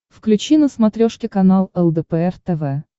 включи на смотрешке канал лдпр тв